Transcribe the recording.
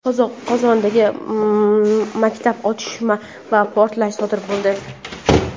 Qozondagi maktabda otishma va portlash sodir bo‘ldi.